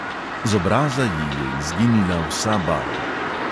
Z obraza ji je izginila vsa barva.